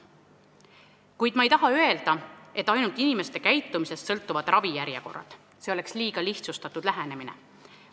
Kuid ma ei taha öelda, et ravijärjekorrad sõltuvad ainult inimeste käitumisest, see oleks liiga lihtsustatud lähenemine.